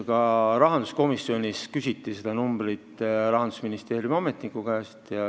Ka rahanduskomisjonis küsiti seda numbrit Rahandusministeeriumi ametniku käest.